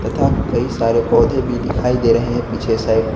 तथा कई सारे पौधे भी दिखाई दे रहे हैं पीछे साइड ।